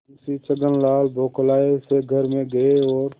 मुंशी छक्कनलाल बौखलाये से घर में गये और